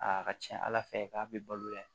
Aa ka ca ala fɛ k'a bi balo yan